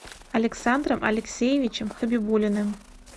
александром алексеевичем хабибулиным